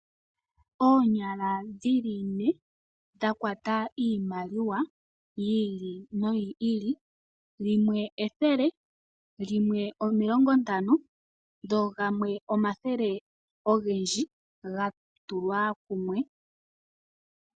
Oonyala dhili ne dha kwata iimaliwa yi ili noyi ili. Limwe 100, limwe 50 dho gamwe omathele ogendji ga tulwa kumwe.